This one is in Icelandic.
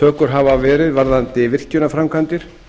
hafa verið varðandi virkjunarframkvæmdir